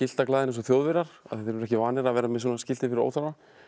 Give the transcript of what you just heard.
skiltaglaðir eins og Þjóðverjar af því þeir eru ekki vanir að vera með svona skilti fyrir óþarfa